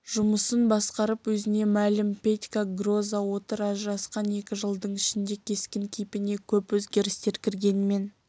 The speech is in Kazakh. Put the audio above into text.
жұмысын басқарып өзіне мәлім петька гроза отыр ажырасқан екі жылдың ішінде кескін-кейпіне көп өзгерістер кіргенмен